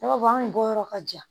Ne b'a fɔ anw bɔyɔrɔ ka ja